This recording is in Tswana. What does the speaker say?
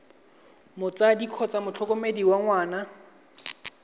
motsadi kgotsa motlhokomedi wa ngwana